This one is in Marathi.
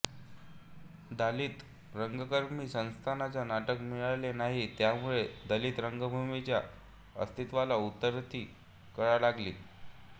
दलित रंगकर्मी संस्थांना नाटक मिळाले नाही त्यामुळे दलित रंगभूमीच्या अस्तित्वाला उतरती कळा लागली